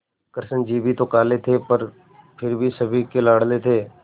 कृष्ण जी भी तो काले थे पर फिर भी सभी के लाडले थे